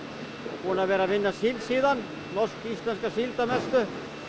búin að vera að vinna síld síðan norsk íslenska síld að mestu